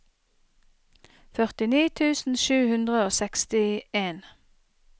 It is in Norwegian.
førtini tusen sju hundre og sekstien